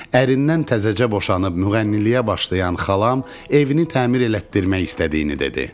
Ərindən təzəcə boşanıb müğənniliyə başlayan xalam evini təmir elətdirmək istədiyini dedi.